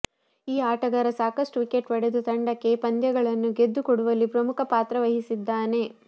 ಈ ಆಟಗಾರ ಸಾಕಷ್ಟು ವಿಕೆಟ್ ಪಡೆದು ತಂಡಕ್ಕೆ ಪಂದ್ಯಗಳನ್ನು ಗೆದ್ದು ಕೊಡುವಲ್ಲಿ ಪ್ರಮುಖ ಪಾತ್ರ ವಹಿಸಿದ್ದಾನೆ